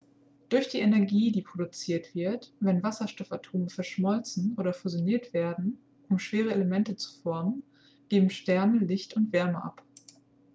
durch die energie die produziert wird wenn wasserstoffatome verschmolzen oder fusioniert werden um schwerere elemente zu formen geben sterne licht und wärme ab